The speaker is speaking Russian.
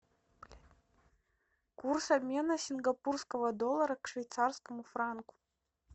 курс обмена сингапурского доллара к швейцарскому франку